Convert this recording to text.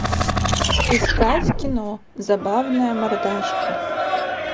искать кино забавная мордашка